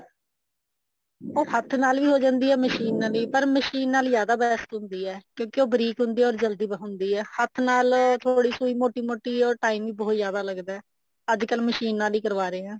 ਉਹ ਹੱਥ ਨਾਲ ਵੀ ਹੋ ਜਾਂਦੀ ਆ ਮਸ਼ੀਨ ਨਾਲ ਵੀ ਪਰ ਮਸ਼ੀਨ ਨਾਲ ਜਿਆਦਾ best ਹੁੰਦੀ ਆ ਕਿਉਂਕਿ ਉਹ ਬਰੀਕ ਹੁੰਦੀ ਆ ਜਲਦੀ ਹੁੰਦੀ ਆ ਹੱਥ ਨਾਲ ਥੋੜੀ ਸੁਈ ਮੋਟੀ ਮੋਟੀ or time ਈ ਬਹੁਤ ਜਿਆਦਾ ਲੱਗਦਾ ਅੱਜਕਲ ਮਸ਼ੀਨ ਨਲ ਹੀ ਕਰਵਾ ਰਹੇ ਹਾਂ